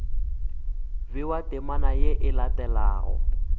bewa temana ye e latelago